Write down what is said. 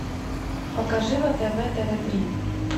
покажи на тв тв три